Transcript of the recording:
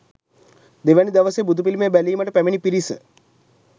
දෙවැනි දවසේ බුදුපිළිමය බැලීමට පැමිණි පිරිස